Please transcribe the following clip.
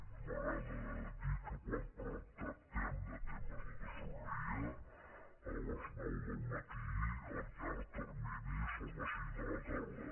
a mi m’agrada dir que quan tractem de temes de tresoreria a les nou del matí el llarg termini són les cinc de la tarda